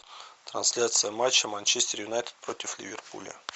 трансляция матча манчестер юнайтед против ливерпуля